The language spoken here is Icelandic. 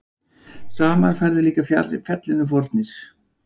Samar færðu líka fjallinu fórnir.